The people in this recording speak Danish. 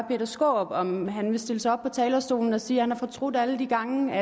skaarup om han vil stille sig op på talerstolen og sige at han har fortrudt alle de gange